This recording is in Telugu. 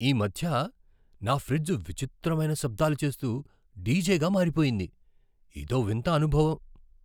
ఈ మధ్య నా ఫ్రిడ్జ్ విచిత్రమైన శబ్దాలు చేస్తూ డీజేగా మారిపోయింది. ఇదో వింత అనుభవం!